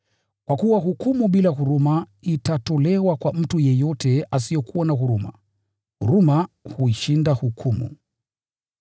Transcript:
Kwa kuwa hukumu bila huruma itatolewa kwa mtu yeyote asiyekuwa na huruma. Huruma huishinda hukumu.